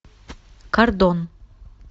кардон